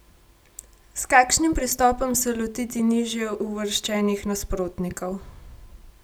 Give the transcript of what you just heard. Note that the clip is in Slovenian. S kakšnim pristopom se lotiti nižje uvrščenih nasprotnikov?